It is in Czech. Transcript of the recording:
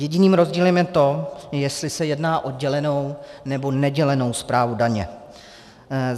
Jediným rozdílem je to, jestli se jedná o dělenou, nebo nedělenou správu daně.